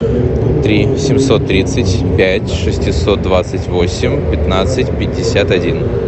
три семьсот тридцать пять шестьсот двадцать восемь пятнадцать пятьдесят один